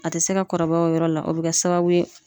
A tɛ se ka kɔrɔbaya o yɔrɔ la o bɛ kɛ sababu ye